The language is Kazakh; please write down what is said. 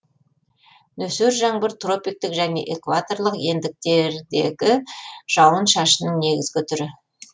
нөсер жаңбыр тропиктік және экваторлық ендіктердегі жауын шашынның негізгі түрі